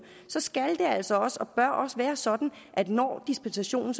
skal det altså også og bør også være sådan at når dispensationen